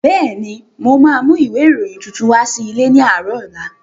Bẹ́ẹ̀ni, mo ma mú ìwé ìròyìn tuntun wá sí ilé ní àárọ̀ ọ̀la